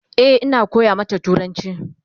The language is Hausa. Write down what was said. E,Ina koya mata turanci